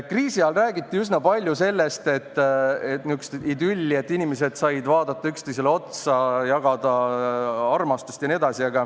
Kriisi ajal räägiti üsna palju niisugusest idüllist, et inimesed said vaadata üksteisele otsa, jagada armastust jne.